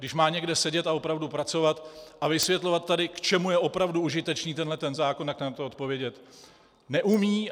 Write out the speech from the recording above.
Když má někde sedět a opravdu pracovat a vysvětlovat tady, k čemu je opravdu užitečný tenhle zákon, tak na to odpovědět neumí.